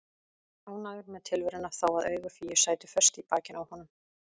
Ánægður með tilveruna þó að augu Fíu sætu föst í bakinu á honum.